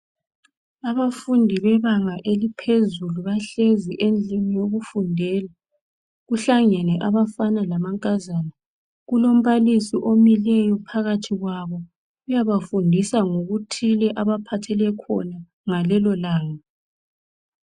Abafundi bebanga eliphezulu bahlezi endlini yokufundela. Kuhlangene abafana lamankazana. Kulombalisi omileyo phakathi kwabo. Uyabafundisa ngokuthile abaphathele khona ngalelo langa.